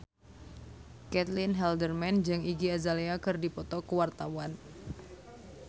Caitlin Halderman jeung Iggy Azalea keur dipoto ku wartawan